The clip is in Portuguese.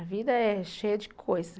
A vida é cheia de coisa.